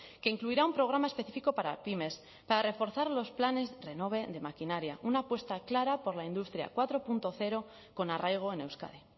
que incluirá un programa específico para pymes para reforzar los planes renove de maquinaria una apuesta clara por la industria cuatro punto cero con arraigo en euskadi